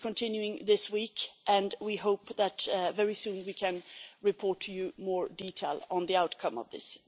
It is continuing this week, and we hope that very soon we can report to you in more detail on the outcome of this.